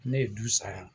Ne ye du saya